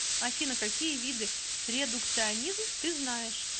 афина какие виды редукционизм ты знаешь